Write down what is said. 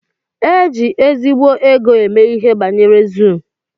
Éjị ezigbo égo eme ihe banyere zuu.